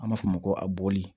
An b'a fɔ o ma ko a bɔli